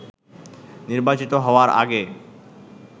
নির্বাচিত হওয়ার আগে